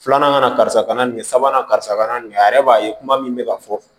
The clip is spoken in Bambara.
Filanan kana karisa kana nin sabanan karisa kana nin a yɛrɛ b'a ye kuma min bɛ ka fɔ